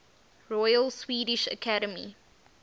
royal swedish academy